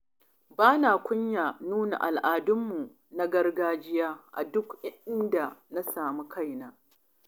Bana kunyar nuna al'adunmu na gargajiya a duk inda na sami kaina.